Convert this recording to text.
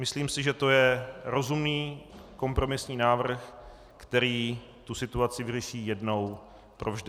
Myslím si, že to je rozumný kompromisní návrh, který tu situaci vyřeší jednou provždy.